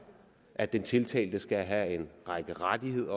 at den tiltalte skal have en række rettigheder